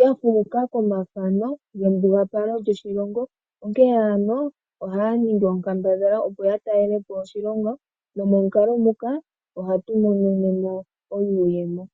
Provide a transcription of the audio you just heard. yafuuka komafano gembugalo lyoshilongo , onkee ano ohaa ningi onkambadhala opo yatalelepo oshilongo nomukalo nguka ohamu monika iiyemo.